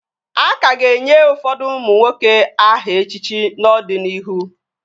A ka ga-enye ụfọdụ ụmụ nwoke aha echichi n'ọdịnihu